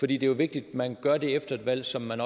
det er jo vigtigt at man gør det efter et valg som man